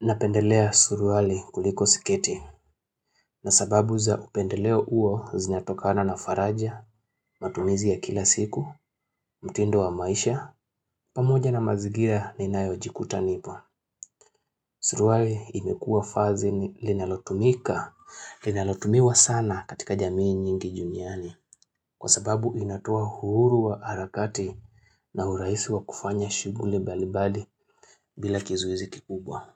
Napendelea suruali kuliko sketi. Na sababu za upendeleo uo zinatokana na faraja, matumizi ya kila siku, mtindo wa maisha, pamoja na mazingira ninayojikuta nipo. Suruali imekua vazi ni linalotumika, linalotumiwa sana katika jamii nyingi duniani. Kwa sababu inatoa uhuru wa harakati na urahisi wa kufanya shughuli mbalimbali bila kizoezi kikubwa.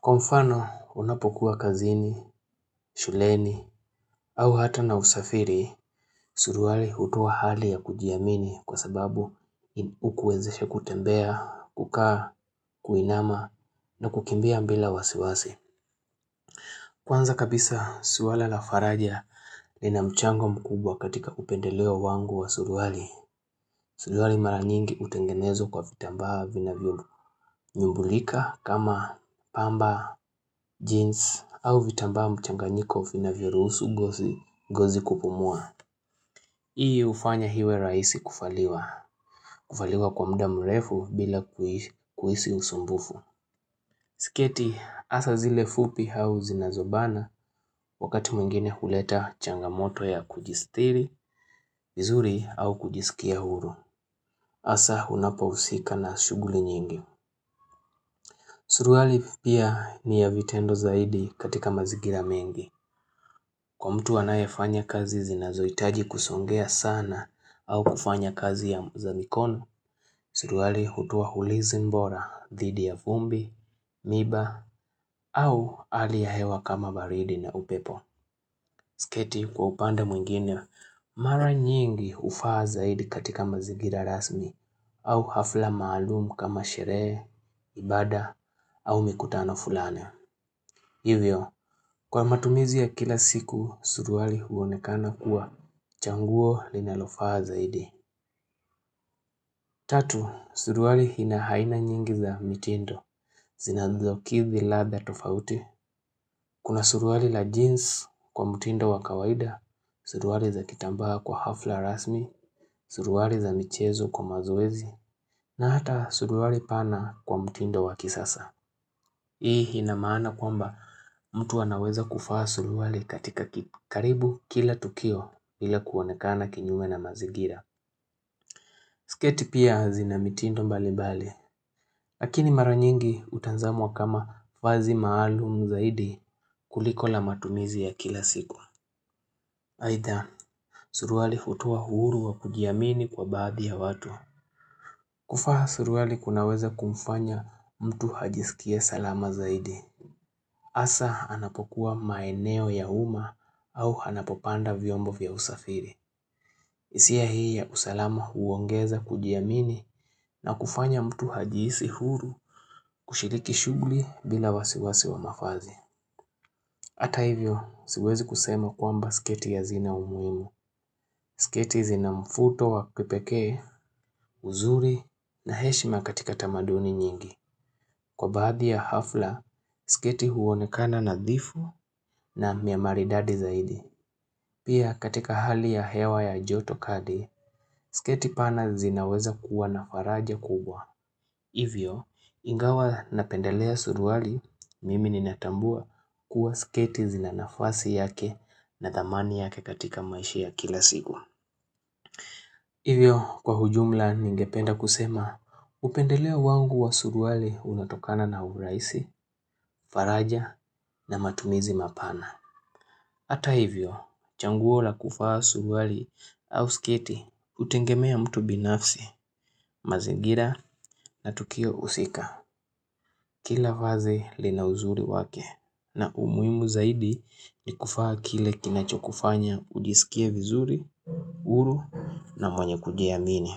Kwa mfano unapokuwa kazini, shuleni au hata na usafiri, suruali hutoa hali ya kujiamini kwa sababu ukwezesha kutembea, kukaa, kuinama na kukimbia bila wasiwasi. Kwanza kabisa swala la faraja lina mchango mkubwa katika upendeleo wangu wa suruali. Suruali mara nyingi hutengenezwa kwa vitambaa vinavyonyumbulika kama pamba, jeans au vitambaa mchanganyiko vinavyoruhusu ngozi kupumua. Hii hufanya iwe rahisi kuvaliwa. Kuvaliwa kwa muda mrefu bila kuhisi usumbufu. Sketi hasa zile fupi au zinazobana wakati mwingine huleta changamoto ya kujistiri, vizuri au kujiskia huru. Hasa unapohusika na shughuli nyingi. Suruali pia ni ya vitendo zaidi katika mazingira mengi. Kwa mtu anayefanya kazi zinazohitaji kusongea sana au kufanya kazi ya za mikono, suruali hutoa ulinzi bora, dhidi ya vumbi, miba, au hali ya hewa kama baridi na upepo. Sketi kwa upande mwingine, mara nyingi hufaa zaidi katika mazingira rasmi au hafla maalumu kama sherehe, ibada, au mikutano fulani. Hivyo, kwa matumizi ya kila siku, suruali huonekana kuwa chaguo linalofaa zaidi. Tatu, suruali ina aina nyingi za mitindo. Zinazokithi ladha tofauti. Kuna suruali la jeans kwa mtindo wa kawaida, suruali za kitambaa kwa hafla rasmi, suruali za michezo kwa mazoezi, na hata suruali pana kwa mtindo wa kisasa Hii inamaana kwamba mtu anaweza kuvaa suruali katika karibu kila tukio ila kuonekana kinyume na mazingira sketi pia zina mitindo mbali mbali Lakini mara nyingi hutazamwa kama vazi maalum zaidi kuliko la matumizi ya kila siku Haitha, suruali hutoa uhuru wa kujiamini kwa baadhi ya watu kuvaa suruali kunaweza kumfanya mtu ajiskie salama zaidi. Hasa anapokuwa maeneo ya uma au anapopanda viombo vya usafiri. Hisia hii ya usalama huongeza kujiamini na kufanya mtu ajihisi huru kushiriki shugli bila wasiwasi wa mavazi. Hata hivyo, siwezi kusema kwamba sketi hazina umuhimu. Sketi zina mvuto wa kipekee, uzuri na heshima katika tamaduni nyingi. Kwa baadhi ya hafla, sketi huonekana nadhifu na niya maridadi zaidi. Pia katika hali ya hewa ya joto kali, sketi pana zinaweza kuwa na faraja kubwa. Hivyo, ingawa napendelea suruali, mimi ninatambua kuwa sketi zina nafasi yake na dhamani yake katika maishi ya kila siku. Hivyo kwa ujumla ningependa kusema upendeleo wangu wa suruali unatokana na urahisi, faraja na matumizi mapana. Hata hivyo chaguo la kuvaa suruali au sketi hutegemea mtu binafsi, mazingira na tukio husika. Kila vazi lina uzuri wake na umuhimu zaidi ni kuvaa kile kinachokufanya ujiskie vizuri, huru na mwenye kujiamini.